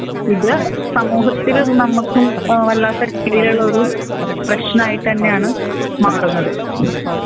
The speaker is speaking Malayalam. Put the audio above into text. ഇത് സമൂഹത്തിലും നമ്മക്കും ഏഹ് വല്ലാത്ത രീതിയിലുള്ളൊരു പ്രേശ്നായിട്ടെനെയാണ് മാറുന്നത്